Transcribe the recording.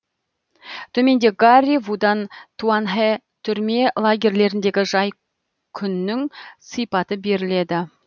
төменде гарри вудан туанхэ түрме лагерьлеріндегі жай күннің сипаты беріледі